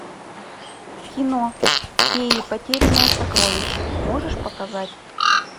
кино феи потерянное сокровище можешь показать